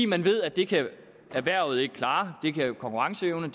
man ved at det kan erhvervet ikke klare det kan konkurrenceevnen